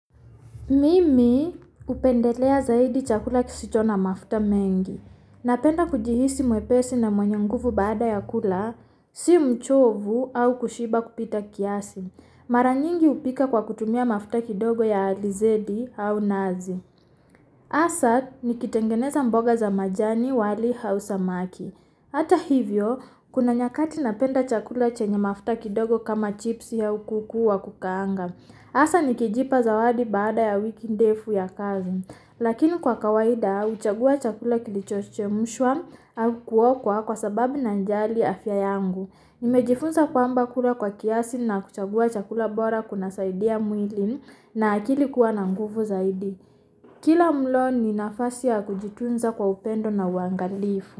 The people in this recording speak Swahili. Mimi upendelea zaidi chakula kisicho na mafuta mengi. Napenda kujihisi mwepesi na mwenye nguvu baada ya kula, si mchovu au kushiba kupita kiasi. Mara nyingi upika kwa kutumia mafuta kidogo ya alizedi au nazi. Asa, nikitengeneza mboga za majani, wali au samaki. Ata hivyo, kuna nyakati napenda chakula chenye mafuta kidogo kama chipsi au kuku wa kukaanga. Asa, nikijipa zawadi baada ya wiki ndefu ya kazi. Lakini kwa kawaida, uchagua chakula kilicho chemshwa uu kuokwa kwa sababu nanjali afya yangu. Nimejifunza kwamba kula kwa kiasi na kuchagua chakula bora kunasaidia mwili na akili kua na nguvu zaidi. Kila mlo ni nafasi ya kujitunza kwa upendo na uangalifu.